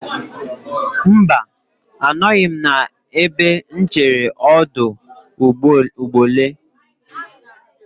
Mba, anọghị m n'ebe nchere ọdụ ụgbọelụ.